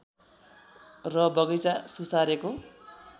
र बगैँचा सुसारेको